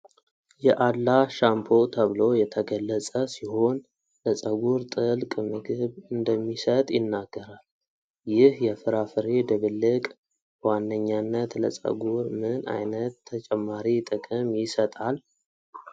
የ'አላህ' ሻምፖ ተብሎ የተገለጸ ሲሆን ለፀጉር ጥልቅ ምግብ እንደሚሰጥ ይናገራል። ይህ የፍራፍሬ ድብልቅ በዋነኛነት ለፀጉር ምን ዓይነት ተጨማሪ ጥቅም ይሰጣል?